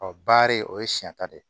Ɔ baari o ye siɲɛ ta de ye